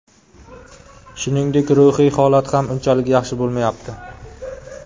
Shuningdek, ruhiy holat ham unchalik yaxshi bo‘lmayapti.